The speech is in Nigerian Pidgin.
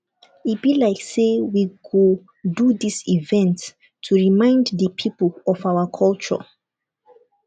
e be like say we go do dis event to remind the people of our culture